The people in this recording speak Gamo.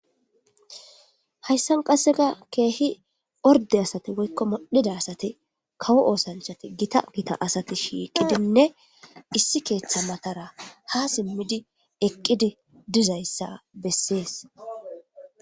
hayssan qasseka keehi orde asati woykko modhida asati kawo oosanchati gita gita asati shiiqidinne issi keeththa matara ha simmidi eqqidi dizayssa bessees